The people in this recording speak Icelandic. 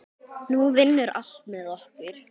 Nú vinnur allt með okkur.